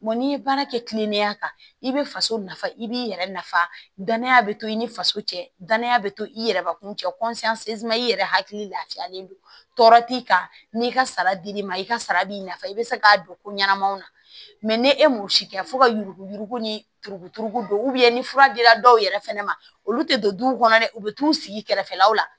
n'i ye baara kɛ kilennenya kan i bɛ faso nafa i b'i yɛrɛ nafa danaya bɛ to i ni faso cɛ danaya bɛ to i yɛrɛ bakun cɛ i yɛrɛ hakili lafiyalen don tɔɔrɔ t'i kan n'i ka sara dil'i ma i ka sara b'i nafa i bɛ se k'a don ko ɲɛnamaw na ni e m'o si kɛ fo ka yugu yugu ni turu turu don ni fura dira dɔw yɛrɛ fɛnɛ ma olu tɛ don du kɔnɔ dɛ u bɛ t'u sigi kɛrɛfɛlaw la